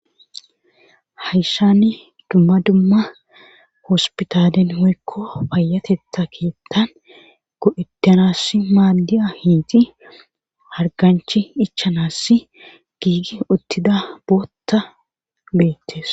Hayshani dumma dumma hospitalen woykko payatetha keeththan go7etanass maadi7a hiiti harganchi ichanass giigi uttida bootta beettes.